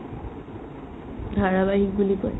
ধাৰাবাহিক বুলি কয়